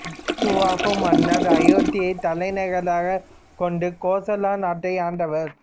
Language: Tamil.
இச்வாகு மன்னர் அயோத்தியை தலைநகராகக் கொண்டு கோசல நாட்டை ஆண்டவர்